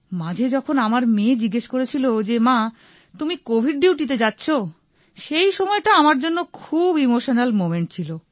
মাঝে যখন আমার মেয়ে জিজ্ঞেস করেছিল যে মা তুমি কোভিড ডিউটিতে যাচ্ছ সেইসময়টা আমার জন্য খুব ইমোশনাল মোমেন্ট ছিল